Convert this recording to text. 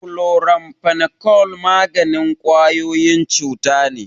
Chloramphenicol maganin ƙwayoyin cuta ne.